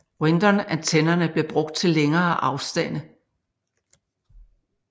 Windom antennerne blev brugt til længere afstande